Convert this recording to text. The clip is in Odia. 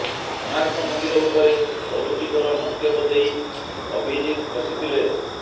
କୋଣାର୍କ ମନ୍ଦିର ଉପରେ ଅରୁଚିକର ମନ୍ତବ୍ୟ ଦେଇ ଅଭିଜିତ ଫସିଥିଲେ